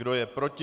Kdo je proti?